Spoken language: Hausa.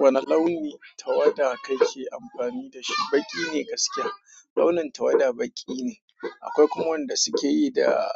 Wane launin tawada kake amfani da shi? Baƙi ne gaskiya, launin tawada baƙi ne. Akwai kuma wanda suke yi da